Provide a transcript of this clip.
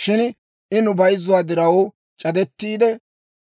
Shin I nu bayzzuwaa diraw, c'adettiide